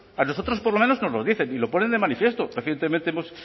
a nosotros por lo menos nos lo dicen y lo ponen de manifiesto recientemente hemos